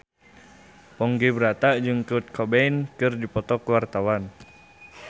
Ponky Brata jeung Kurt Cobain keur dipoto ku wartawan